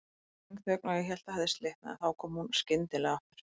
Löng þögn og ég hélt það hefði slitnað, en þá kom hún skyndilega aftur.